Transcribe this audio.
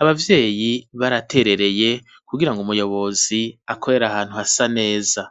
abavyeyi baraterereye kugira ngo umuyobozi akorera ahantu hasa neza.